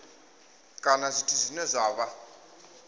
kana zwithu zwine zwa vha